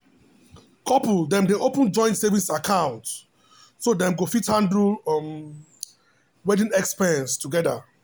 couple dem dey open joint savings account so dem fit handle um wedding expense together.